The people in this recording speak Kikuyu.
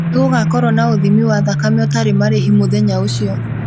nĩ gũgakorwo na uthĩmi wa thakame utarĩ marĩhi muthenya ũcio